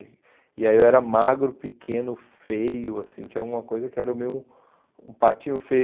E aí eu era magro, pequeno, feio, assim, tinha alguma coisa que era meio um patinho feio.